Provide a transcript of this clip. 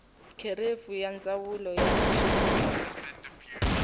kherefu ya ndzawulo ya xivundza